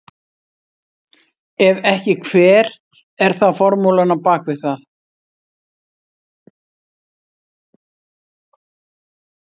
Ef ekki hver er þá formúlan á bak við það?